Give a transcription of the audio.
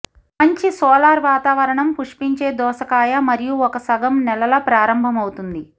మంచి సోలార్ వాతావరణం పుష్పించే దోసకాయ మరియు ఒక సగం నెలల ప్రారంభమవుతుంది